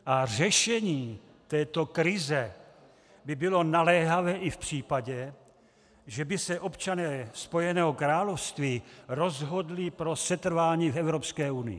A řešení této krize by bylo naléhavé i v případě, že by se občané Spojeného království rozhodli pro setrvání v Evropské unii.